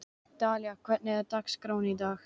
Dalía, hvernig er dagskráin í dag?